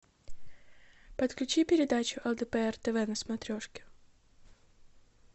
подключи передачу лдпр тв на смотрешке